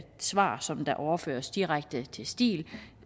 svar som der overføres direkte til stil